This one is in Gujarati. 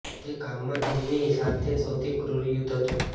તે કામમાં તેમની સાથે સૌથી ક્રૂર યુદ્ધ હતું